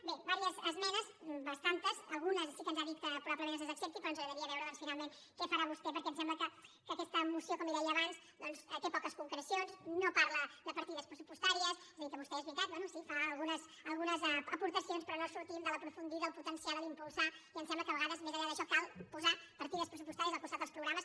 bé diverses esmenes bastantes algunes sí que ens ha dit que probablement ens les accepti però ens agradaria veure doncs finalment què farà vostè perquè em sembla que aquesta moció com li deia abans té poques concrecions no parla de partides pressupostàries és a dir que vostè és veritat bé sí fa algunes aportacions però no sortim de l’ aprofundir del potenciar de l’ impulsar i em sembla que a vegades més enllà d’això cal posar partides pressupostàries al costat dels programes